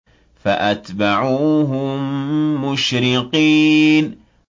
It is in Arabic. فَأَتْبَعُوهُم مُّشْرِقِينَ